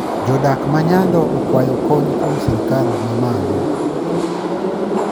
Jodak ma nyando okwayo kony kuom sirkal mamalo